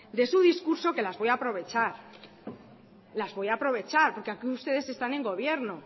de su discurso que las voy a aprovechar las voy a aprovechar porque aquí ustedes están en gobierno